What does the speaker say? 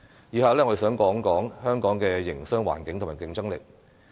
以下我想談談香港的營商環境和競爭力。